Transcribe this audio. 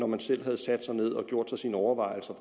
man selv havde sat sig ned og gjort sig sine overvejelser